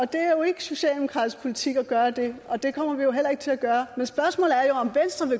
det er jo ikke socialdemokratisk politik at gøre det og det kommer vi heller ikke til at gøre